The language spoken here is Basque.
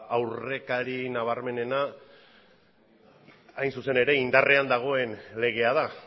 aurrekari nabarmenena indarrean dagoen legea da